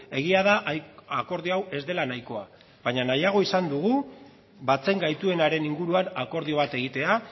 egia da akordio hau ez dela nahikoa baino nahiago izan dugu batzen gaituenaren inguruan akordio bat egitea